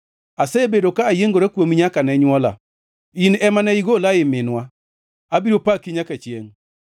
Asebedo ka ayiengora kuomi nyaka ne nywola; in ema ne igola ei minwa. Abiro apaki nyaka chiengʼ.